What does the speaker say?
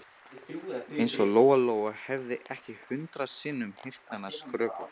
Eins og Lóa Lóa hefði ekki hundrað sinnum heyrt hana skrökva.